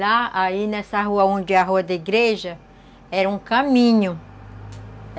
Lá, aí nessa rua onde é a rua da igreja, era um caminho.